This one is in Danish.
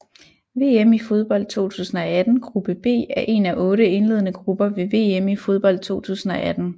VM i fodbold 2018 gruppe B er en af otte indledende grupper ved VM i fodbold 2018